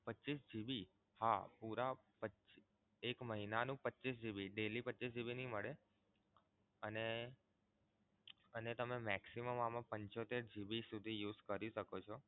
પચ્ચીસ GB હા પૂરા પચ્ચીસ એક મહિના નું પચ્ચીસ GB daily પચ્ચીસ GB નહીં મળે અને તમે maximum આમાં પંચોતેર GB સુધી આમાં use કરી શકો છો.